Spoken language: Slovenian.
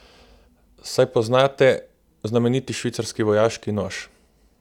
Saj poznate znameniti švicarski vojaški nož?